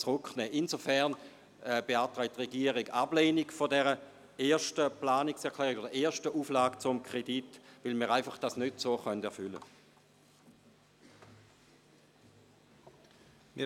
Insofern beantragt der Regierungsrat die Ablehnung der ersten Auflage zum Kredit, weil wir sie so nicht erfüllen können.